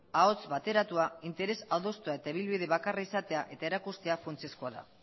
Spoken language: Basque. ahots bateratua interes adostua eta ibilbide bakarra izatea eta erakustea funtsezkoa da